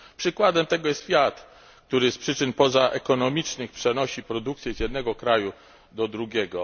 Przykładem tego jest FIAT, który z przyczyn pozaekonomicznych przenosi produkcję z jednego kraju do drugiego.